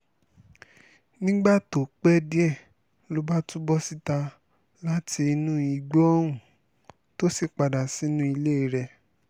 nígbà tó pẹ́ díẹ̀ ló bá tún bọ́ síta láti inú igbó ohun tó sì padà sínú ilé rẹ̀